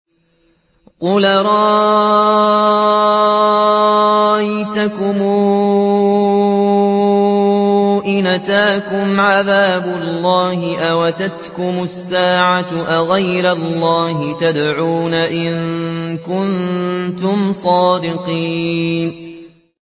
قُلْ أَرَأَيْتَكُمْ إِنْ أَتَاكُمْ عَذَابُ اللَّهِ أَوْ أَتَتْكُمُ السَّاعَةُ أَغَيْرَ اللَّهِ تَدْعُونَ إِن كُنتُمْ صَادِقِينَ